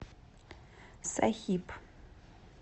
сахиб